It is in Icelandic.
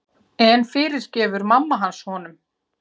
En fyrirgefur mamma hans honum?